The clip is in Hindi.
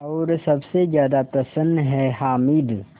और सबसे ज़्यादा प्रसन्न है हामिद